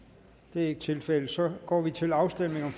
det er ikke tilfældet og så går vi til afstemning